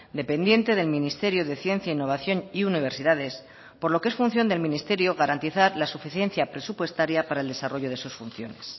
dependiente del ministerio de ciencia innovación y universidades por lo que es función del ministerio garantizar la suficiencia presupuestaria para el desarrollo de sus funciones